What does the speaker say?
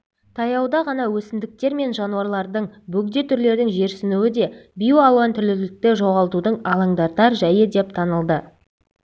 таяуда ғана өсімдіктер мен жануарлардың бөгде түрлердің жерсінуі де биоалуантүрлілікті жоғалтудың алаңдатар жәйі деп танылды